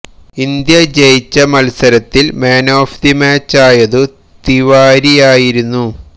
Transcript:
India ജയിച്ച മല്സരത്തില് man of the മാച്ചാതയും തിവാരിയായിരുന്നു